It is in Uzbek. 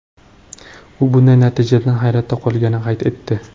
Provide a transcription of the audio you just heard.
U bunday natijadan hayratda qolganini qayd etdi.